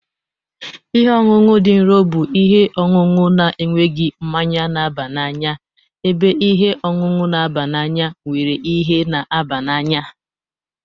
Ihe ọṅụṅụ dị nro bụ ihe ọṅụṅụ na-enweghị mmanya na-aba n'anya ebe ihe ọṅụṅụ na-aba n'anya nwere ihe na-aba n'anya